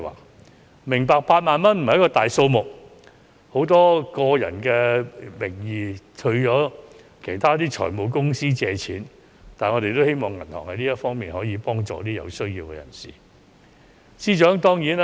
我明白8萬元並不是大數目，很多人亦以個人名義向財務公司借貸，但我們希望銀行可以為有需要的人士提供這方面的協助。